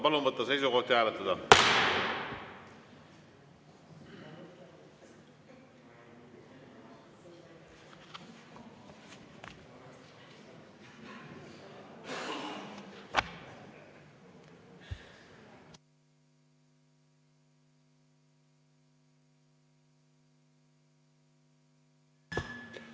Palun võtta seisukoht ja hääletada!